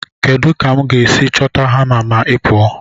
Kedu ka m ga-esi chọta hama ma ị pụọ?